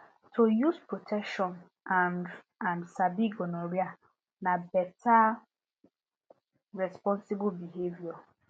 to use protection and and sabi gonorrhea na better responsible behavior